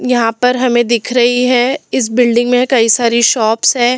यहां पर हमें दिख रही है इस बिल्डिंग में कई सरी शॉप्स है।